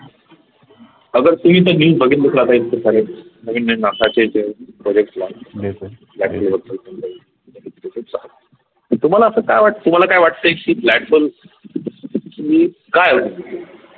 तुम्हाला अस काय तुम्हाला काय वाटते की blackhole